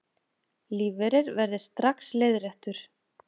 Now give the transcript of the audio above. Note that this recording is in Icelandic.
Lífeyrir verði strax leiðréttur